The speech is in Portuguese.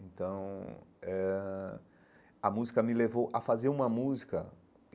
Então, eh ãh a música me levou a fazer uma música.